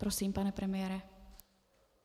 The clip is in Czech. Prosím, pane premiére.